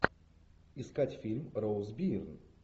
искать фильм роуз бирн